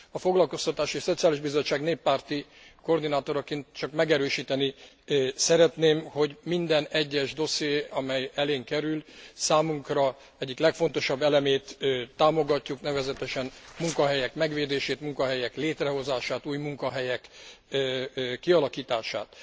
A Foglakoztatási és Szociális Bizottság néppárti koordinátoraként csak megerősíteni szeretném, hogy minden egyes dosszié, amely elénk kerül, számunkra egyik legfontosabb elemét támogatjuk, nevezetesen a munkahelyek megvédését, munkahelyek létrehozását, új munkahelyek kialakítását.